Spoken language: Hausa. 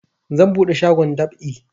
Zan buɗe shagon dab'i